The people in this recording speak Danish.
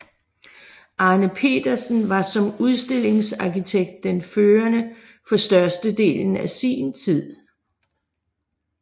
Arne Petersen var som udstillingsarkitekt den førende for største delen af sin tid